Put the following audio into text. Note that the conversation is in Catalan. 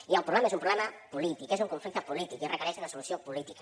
i el problema és un problema polític és un conflicte polític i requereix una solució política